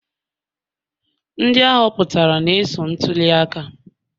Ndị ahoputara na-eso n'ntuli aka